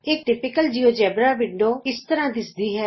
ਇਕ ਆਦਰਸ਼ਕ GeoGebra window ਇੰਝ ਦਿੱਸਦੀ ਹੈ